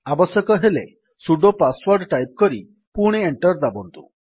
ଆବଶ୍ୟକ ହେଲେ sudo password type କରି ପୁଣି ଏଣ୍ଟର୍ ଦାବନ୍ତୁ